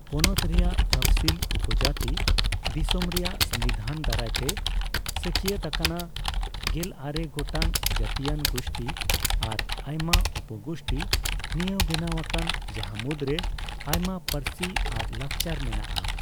ᱯᱚᱱᱚᱛ ᱨᱮᱭᱟᱜ ᱛᱚᱯᱷᱥᱤᱞ ᱩᱯᱚᱡᱟᱹᱛᱤ, ᱫᱤᱥᱚᱢ ᱨᱮᱭᱟᱜ ᱥᱚᱝᱵᱤᱫᱷᱟᱱ ᱫᱟᱨᱟᱭ ᱛᱮ ᱥᱟᱹᱠᱷᱤᱭᱟᱹᱛ ᱟᱠᱟᱱᱟ, ᱜᱮᱞᱟᱨᱮ ᱜᱚᱴᱟᱝ ᱡᱟᱹᱛᱤᱭᱟᱱ ᱜᱩᱥᱴᱤ ᱟᱨ ᱟᱭᱢᱟ ᱩᱯᱚᱼᱜᱩᱥᱴᱤ ᱱᱤᱭᱟᱹ ᱵᱮᱱᱟᱣ ᱟᱠᱟᱱ, ᱡᱟᱦᱟᱸ ᱢᱩᱫᱽᱨᱮ ᱟᱭᱢᱟ ᱯᱟᱹᱨᱥᱤ ᱟᱨ ᱞᱟᱠᱪᱟᱨ ᱢᱮᱱᱟᱜᱼᱟ ᱾